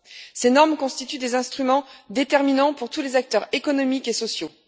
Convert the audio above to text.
Ces normes constituent des instruments déterminants pour tous les acteurs économiques et sociaux.